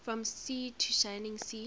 from sea to shining sea